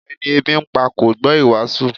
Ẹni ebi ń pa kò gbọ́ ìwàásù